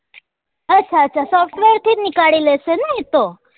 અચ્છા અચ્છા software થી જ નીકાળી લેશે ને એ તો